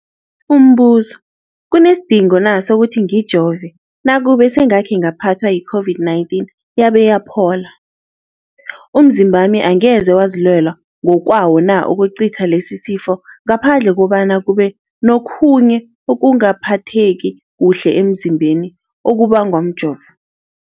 Umbuzo, kunesidingo na sokuthi ngijove nakube sengakhe ngaphathwa yi-COVID-19 yabe yaphola? Umzimbami angeze wazilwela ngokwawo na ukucitha lesisifo, ngaphandle kobana kube nokhunye ukungaphatheki kuhle emzimbeni okubangwa mjovo?